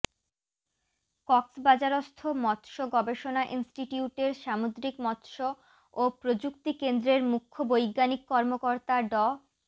কক্সবাজারস্থ মৎস্য গবেষণা ইনস্টিটিউটের সামুদ্রিক মৎস্য ও প্রযুক্তি কেন্দ্রের মুখ্য বৈজ্ঞানিক কর্মকর্তা ড